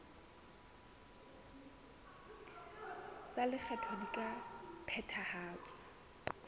tsa lekgetho di ka phethahatswa